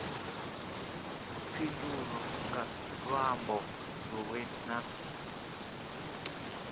fhindulwe nga luambo lunwe na